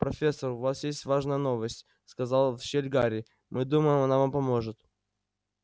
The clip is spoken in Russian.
профессор у вас есть важная новость сказал в щель гарри мы думаем она вам поможет